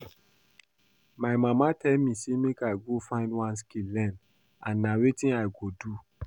My mama tell me say make I go find one skill learn and na wetin I go do